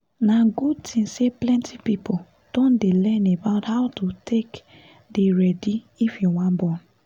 na good thing say plenty people don dey learn about how to take dey ready if you wan born